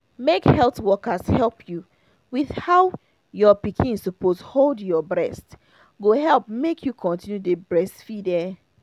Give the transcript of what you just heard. make health workers help you with how your pikin suppose hold your breast go help make you continue dey breastfeed ah